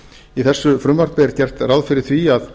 í þessu frumvarpi er gert ráð fyrir því að